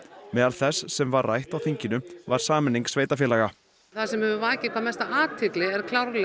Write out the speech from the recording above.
meðal þess sem var rætt á þinginu var sameining sveitarfélaga það sem hefur vakið hvað mesta athygli er